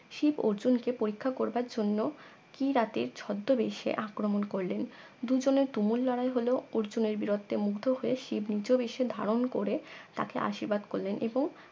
শিব অর্জুনকে পরীক্ষা করবার জন্য কিরাতের ছদ্মবেশে আক্রমণ করলেন দুজনের তুমুল লড়াই হল অর্জুনের বিরত্বে মুগ্ধ হয়ে শিব নিজবেশে ধারণ করে তাকে আশির্বাদ করলেন এবং